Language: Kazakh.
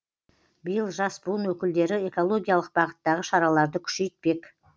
биыл жас буын өкілдері экологиялық бағыттағы шараларды күшейтпек